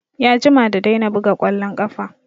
Ya jima da daina buga ƙwallon ƙafa